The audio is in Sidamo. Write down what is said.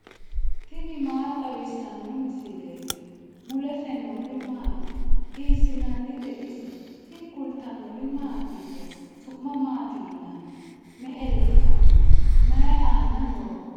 tini maa xawissanno misileeti ? mulese noori maati ? hiissinannite ise ? tini kultannori mattiya? Su'ma maatti yinnanni? Me'e lekka noo? Mayi aanna nooho?